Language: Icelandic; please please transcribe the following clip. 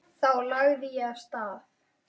Þá lagði ég af stað.